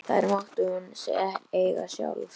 Þær mátti hún eiga sjálf.